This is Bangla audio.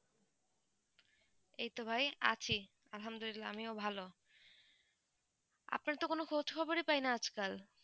এই তো ভাই আছি আলহামদুলিল্লাহ, আমিও ভালো আপনার তো কোনো খোঁজখবর পাইনা আজ কাল